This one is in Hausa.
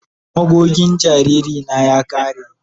Magogin jariri na ya kare.